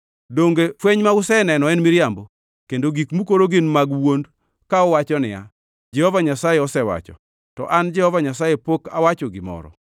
Donge fweny ma useneno en miriambo, kendo gik mukoro gin mag wuond ka uwacho niya, “Jehova Nyasaye osewacho,” to an Jehova Nyasaye pok awacho gimoro?